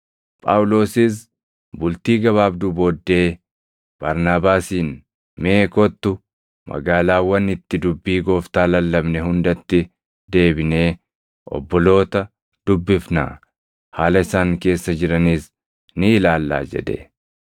Phaawulosis bultii gabaabduu booddee Barnaabaasiin, “Mee kottu, magaalaawwan itti dubbii Gooftaa lallabne hundatti deebinee obboloota dubbifnaa; haala isaan keessa jiranis ni ilaallaa!” jedhe.